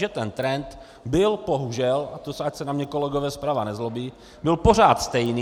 Že ten trend byl bohužel, a to ať se na mě kolegové zprava nezlobí, byl pořád stejný.